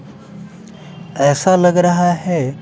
ऐसा लग रहा है।